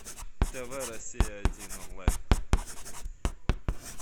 тв россия один онлайн